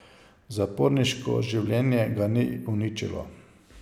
Zaporniško življenje ga ni uničilo.